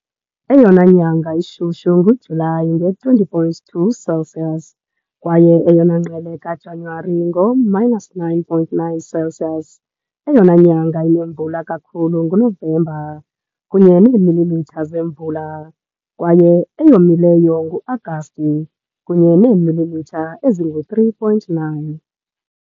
Eyona nyanga ishushu nguJulayi, nge 20.2 Celsius, kwaye eyona ngqele kaJanuwari, ngo-minus 9.9 Celsius. Eyona nyanga inemvula kakhulu nguNovemba, kunye neemilimitha zemvula, kwaye eyomileyo nguAgasti, kunye neemilimitha ezingu3.9.